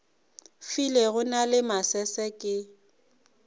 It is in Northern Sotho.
filego na le masese ke